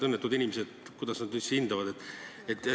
Kuidas need õnnetud inimesed üldse hindavad?